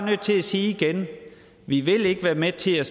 nødt til sige igen vi vil ikke være med til at